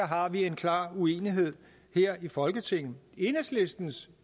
har en klar uenighed her i folketinget enhedslistens